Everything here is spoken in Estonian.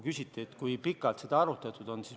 Küsiti, kui pikalt seda arutatud on.